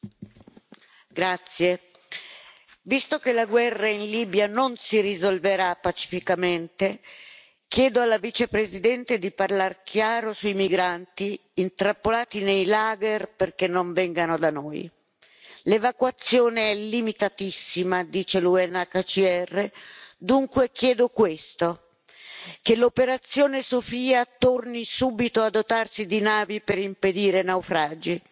Signora Presidente, onorevoli colleghi, visto che la guerra in Libia non si risolverà pacificamente, chiedo alla Vicepresidente di parlare chiaro sui migranti intrappolati nei lager perché non vengano da noi, l'evacuazione è limitatissima dice l'UNHCR. Dunque chiedo questo che l'operazione Sofia torni subito a dotarci di navi per impedire naufragi.